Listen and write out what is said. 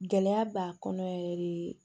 Gɛlɛya b'a kɔnɔ yɛrɛ de